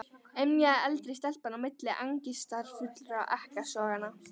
emjaði eldri stelpan á milli angistarfullra ekkasoganna.